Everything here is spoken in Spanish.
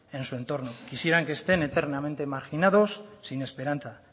en su entorno quisieran que estén eternamente marginados sin esperanza